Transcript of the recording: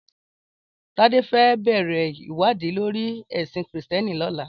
Tade fè bèrè iwàdí lóri èsín Kristièní lòlá